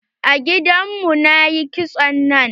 A gidan mu na yi kitson nan.